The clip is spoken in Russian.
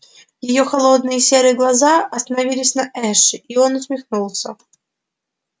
её холодные серые глаза остановились на эше и он усмехнулся